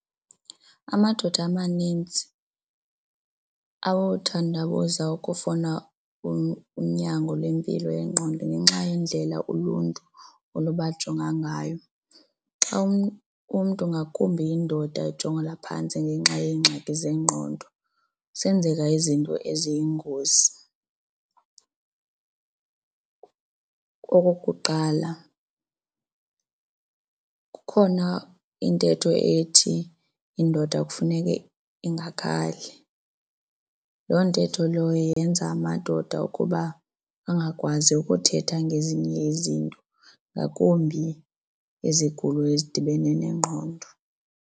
Amadoda amaninzi awothandabuza ukufuna unyango lwempilo yengqondo ngenxa yendlela uluntu oluba jonga ngayo. Xa umntu ngakumbi indoda ejongelwa phantsi ngenxa yeengxaki zengqondo senzeka izinto eziyingozi. Okokuqala, kukhona intetho ethi indoda kufuneke ingakhali. Loo ntetho leyo yenza amadoda ukuba angakwazi ukuthetha ngezinye izinto ngakumbi izigulo ezidibene nengqondo.